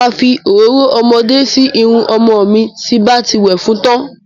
Mo ma fi òróró ọmọdé sí irun ọmọ mi tí n bá ti wẹ̀ fún tán.